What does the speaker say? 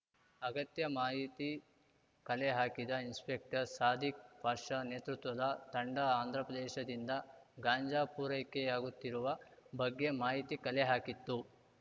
ಅಗತ್ಯ ಮಾಹಿತಿ ಕಲೆ ಹಾಕಿದ ಇನ್ಸ್‌ಪೆಕ್ಟರ್‌ ಸಾದಿಕ್‌ ಪಾಷಾ ನೇತೃತ್ವದ ತಂಡ ಆಂಧ್ರಪ್ರದೇಶದಿಂದ ಗಾಂಜಾ ಪೂರೈಕೆಯಾಗುತ್ತಿರುವ ಬಗ್ಗೆ ಮಾಹಿತಿ ಕಲೆ ಹಾಕಿತ್ತು